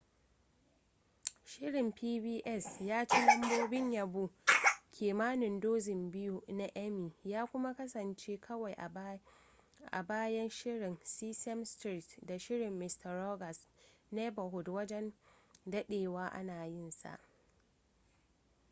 shirin pbs ya ci lambobin yabo kimanin dozin biyu na emmy ya kuma kasance kawai a bayan shirin sesame street da shirin mister rogers neighborhood wajen dadewa ana yinsa